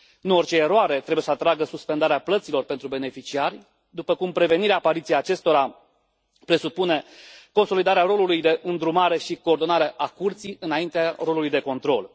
Nu orice eroare trebuie să atragă suspendarea plăților pentru beneficiari, după cum prevenirea apariției acestora presupune consolidarea rolului de îndrumare și coordonare a Curții înaintea rolului de control.